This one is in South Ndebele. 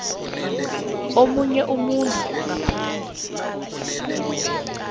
omunye umuntu ngaphandle